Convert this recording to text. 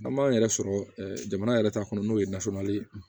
An b'an yɛrɛ sɔrɔ jamana yɛrɛ ta kɔnɔ n'o ye nasɔngɔ ye